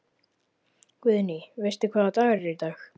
Guðný: Veistu hvaða dagur er í dag?